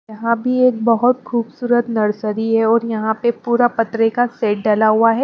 यहां भी एक बहुत खूबसूरत है और यहां पे पूरा पतरे का सेट डला हुआ है।